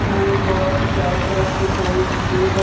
न एक बड़ा सा चारो तरफ से एक गेट है|